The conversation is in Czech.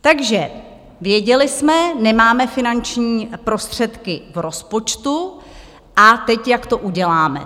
Takže věděli jsme: Nemáme finanční prostředky v rozpočtu, a teď jak to uděláme?